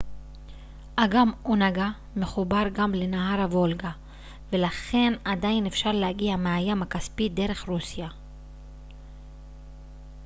אגם אונגה מחובר גם לנהר הוולגה ולכן עדיין אפשר להגיע מהים הכספי דרך רוסיה